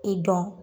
I dɔn